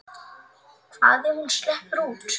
Hvað ef hún sleppur út?